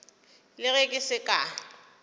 le ge ke se ka